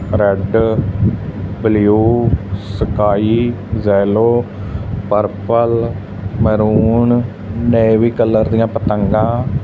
Red blue sky yellow purple maroon navy colour ਦਿਆਂ ਪਤੰਗਾ।